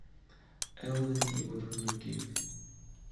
элвин и бурундуки